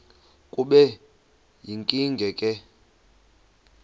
kube yinkinge ke